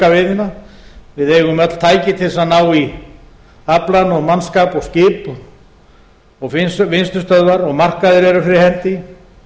veiðina við eigum öll tæki til þess að ná í aflann og mannskap og skip og vinnslustöðvar og markaðir eru fyrir hendi